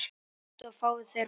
Komdu og fáðu þér bollur.